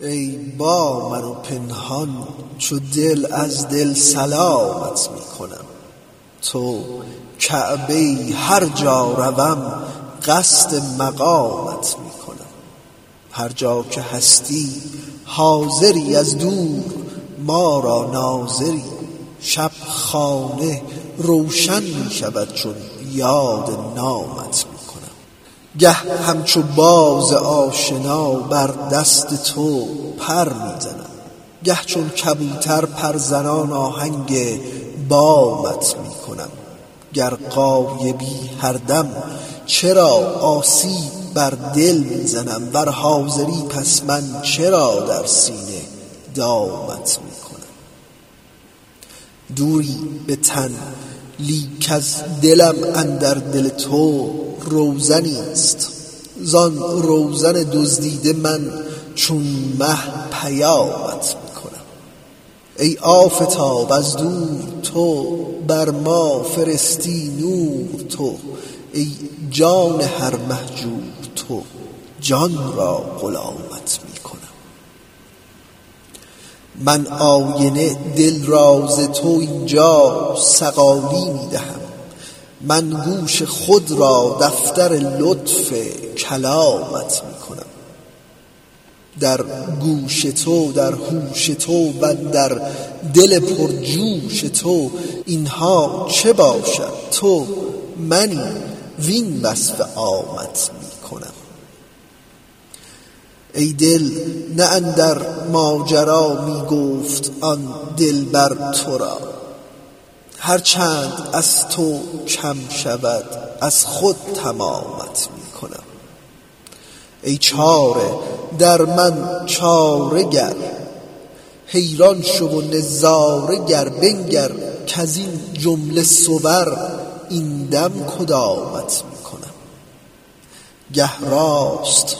ای با من و پنهان چو دل از دل سلامت می کنم تو کعبه ای هر جا روم قصد مقامت می کنم هر جا که هستی حاضری از دور در ما ناظری شب خانه روشن می شود چون یاد نامت می کنم گه همچو باز آشنا بر دست تو پر می زنم گه چون کبوتر پرزنان آهنگ بامت می کنم گر غایبی هر دم چرا آسیب بر دل می زنی ور حاضری پس من چرا در سینه دامت می کنم دوری به تن لیک از دلم اندر دل تو روزنیست زان روزن دزدیده من چون مه پیامت می کنم ای آفتاب از دور تو بر ما فرستی نور تو ای جان هر مهجور تو جان را غلامت می کنم من آینه دل را ز تو این جا صقالی می دهم من گوش خود را دفتر لطف کلامت می کنم در گوش تو در هوش تو وندر دل پرجوش تو این ها چه باشد تو منی وین وصف عامت می کنم ای دل نه اندر ماجرا می گفت آن دلبر تو را هر چند از تو کم شود از خود تمامت می کنم ای چاره در من چاره گر حیران شو و نظاره گر بنگر کز این جمله صور این دم کدامت می کنم گه راست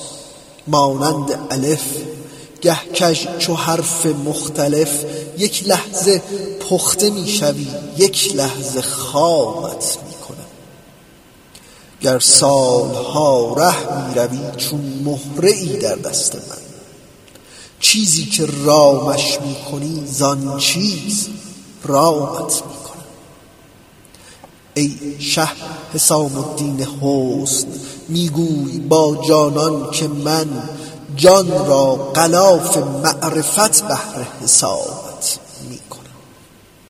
مانند الف گه کژ چو حرف مختلف یک لحظه پخته می شوی یک لحظه خامت می کنم گر سال ها ره می روی چون مهره ای در دست من چیزی که رامش می کنی زان چیز رامت می کنم ای شه حسام الدین حسن می گوی با جانان که من جان را غلاف معرفت بهر حسامت می کنم